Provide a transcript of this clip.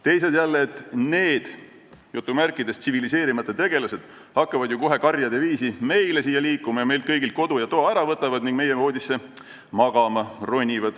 Teised jälle, et need "tsiviliseerimata" tegelased hakkavad ju kohe karjade viisi siia meile liikuma, võtavad meilt kõigilt kodu ja toa ära ning ronivad meie voodisse magama.